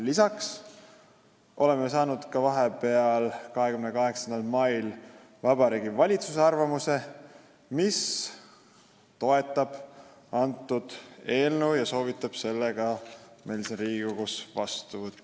Lisaks saime vahepeal, 28. mail, arvamuse Vabariigi Valitsuselt, kes toetab eelnõu ja soovitab meil selle siin Riigikogus vastu võtta.